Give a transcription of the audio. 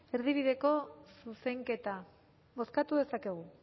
erdibideko zuzenketa bozkatu dezakegu